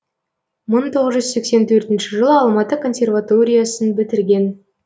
мың тоғыз жүз сексен төртінші жылы алматы консерваториясын бітірген